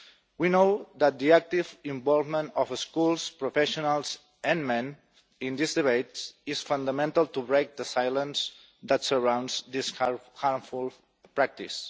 We know that the active involvement of schools, professionals and men in this debate is fundamental to break the silence that surrounds this harmful practice.